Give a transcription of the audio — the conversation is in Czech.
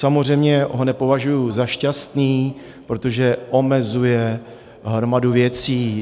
Samozřejmě ho nepovažuji za šťastný, protože omezuje hromadu věcí.